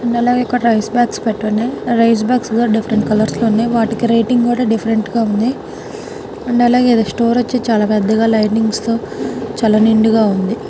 And అలాగే ఇక్కడ rice bags పెట్టి ఉన్నాయి రైస్ బాగ్స్ లో డిఫరెంట్ కలర్స్ ఉన్నాయి వాటికి రేటింగు కూడా డిఫరెంట్ గా ఉంది. అండ్ అంటే అలాగే ఇది స్టోర్ వచ్చి చాలా పెద్దగా లైటింగ్స్ తో చాలా నిండుగా ఉంది.